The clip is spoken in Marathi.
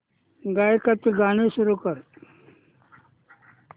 गायकाचे गाणे सुरू कर